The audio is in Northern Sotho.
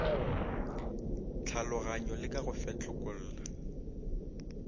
tlhaloganyo le ka go fetlekolla